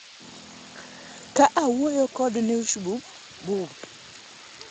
ka owuoyo kod Newshub, Bw